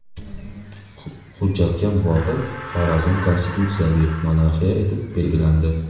Hujjatga muvofiq Xorazm konstitutsiyaviy monarxiya etib belgilandi.